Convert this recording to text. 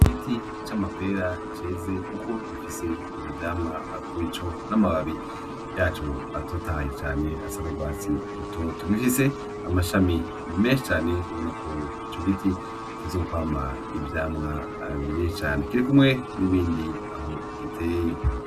Igiti c'amapera ceze kuko gifise ivyo vyamwa kurico n'amababi yaco atotahaye cane asa n'urwatsi rutoto. Gifise amashami menshi cane, ni uko ico giti kizokwama ivyamwa vyinshi cane. Kiri kumwe n'ibindi aho giteye.